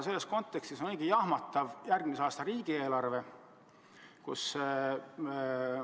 Selles kontekstis on meie järgmise aasta riigieelarve õige jahmatav.